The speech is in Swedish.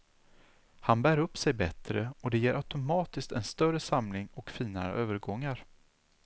Han bär upp sig bättre och det ger automatiskt en större samling och finare övergångar.